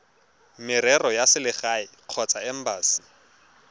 merero ya selegae kgotsa embasi